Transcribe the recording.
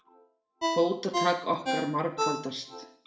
Fótatak okkar margfaldast.